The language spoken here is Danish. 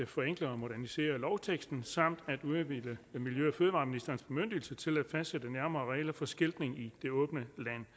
forenkle og modernisere lovteksten samt at udvide miljø og fødevareministerens bemyndigelse til at fastsætte nærmere regler for skiltning i det åbne land